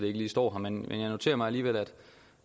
ikke lige står her men jeg noterer mig alligevel